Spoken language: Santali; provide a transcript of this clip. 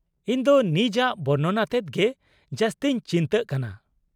-ᱤᱧᱫᱚ ᱱᱤᱡᱟᱜ ᱵᱚᱨᱱᱚᱱ ᱟᱛᱮᱫ ᱜᱮ ᱡᱟᱹᱥᱛᱤᱧ ᱪᱤᱱᱛᱟᱹᱜ ᱠᱟᱱᱟ ᱾